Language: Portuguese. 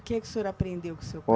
O que é que o senhor aprendeu com o seu